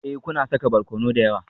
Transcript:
Ee, kuna saka barkono da yawa